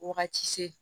Wagati se